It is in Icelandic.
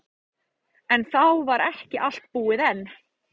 En þá var ekki allt búið enn.